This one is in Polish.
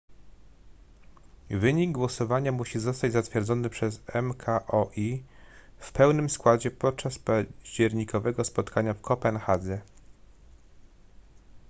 wynik głosowania musi zostać zatwierdzony przez mkol w pełnym składzie podczas październikowego spotkania w kopenhadze